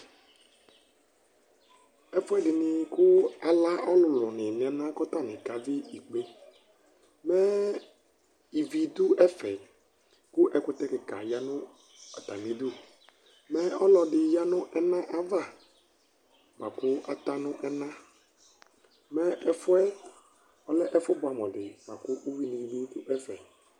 ɛfoɛdi ni ko ala ɔlòlò ni no ɛna ko atani ka vi ikpe mɛ ivi do ɛfɛ ko ɛkutɛ keka ya no atami du mɛ ɔlɔdi ya no ɛna ava boa ko ata no ɛna mɛ ɛfuɛ ɔlɛ ɛfo boɛ amo di boa ko uwi ni bi do ɛfɛ